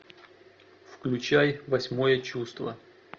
включай восьмое чувство